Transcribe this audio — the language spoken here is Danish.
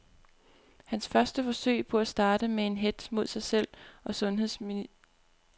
Hans første forsøg på at starte en hetz mod sig selv og sundheds ministeren er slået fejl.